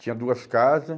Tinha duas casa.